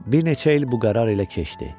Bir neçə il bu qərar ilə keçdi.